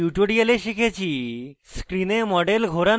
in tutorial শিখেছি: